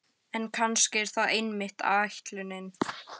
En kannski er það einmitt ætlunin.